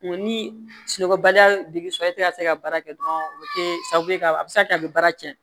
Ni sunɔgɔbaliya de bɛ sɔrɔ e tɛ ka se ka baara kɛ dɔrɔn o bɛ kɛ sababu ye ka a bɛ se ka kɛ a bɛ baara cɛn